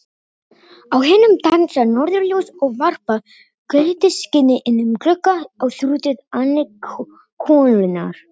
Á himnum dansa norðurljós og varpa gulleitu skini inn um glugga á þrútið andlit konunnar.